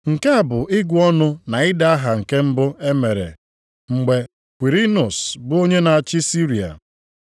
(Nke a bụ ịgụ ọnụ na ide aha nke mbụ e mere mgbe Kwirinus bụ onye na-achị Siria.)